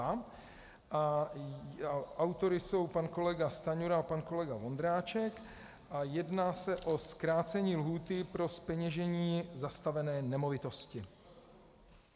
Autory jsou pan kolega Stanjura a pan kolega Vondráček a jedná se o zkrácení lhůty pro zpeněžení zastavené nemovitosti.